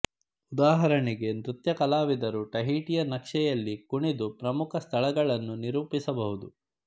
ಉದಾಹರಣೆಗೆ ನೃತ್ಯ ಕಲಾವಿದರು ಟಹೀಟಿಯ ನಕ್ಷೆಯಲ್ಲಿ ಕುಣಿದು ಪ್ರಮುಖ ಸ್ಥಳಗಳನ್ನು ನಿರೂಪಿಸಬಹುದು